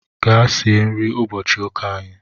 Gaa sie nri ụbọchị ụka anyị